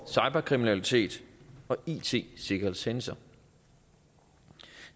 cyberkriminalitet og it sikkerhedshændelser